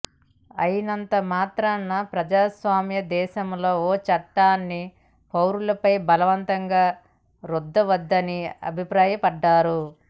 అయినంత మాత్రాన ప్రజాస్వామ్య దేశంలో ఓ చట్టాన్ని పౌరులపై బలవంతంగా రుద్దవద్దని అభిప్రాయపడ్డారు